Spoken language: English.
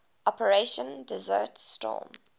operation desert storm